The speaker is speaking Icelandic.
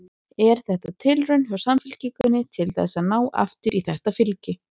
Er þetta tilraun hjá Samfylkingunni til þess að ná aftur í þetta fylgi?